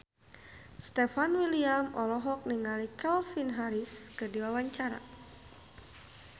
Stefan William olohok ningali Calvin Harris keur diwawancara